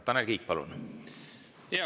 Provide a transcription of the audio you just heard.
Tanel Kiik, palun!